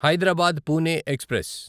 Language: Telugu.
హైదరాబాద్ పూణే ఎక్స్ప్రెస్